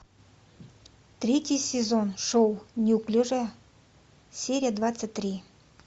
третий сезон шоу неуклюжая серия двадцать три